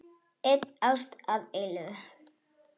Ein ást að eilífu.